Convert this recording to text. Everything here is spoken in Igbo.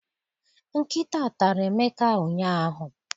Nkịta tara Emeka ụnyaahụ.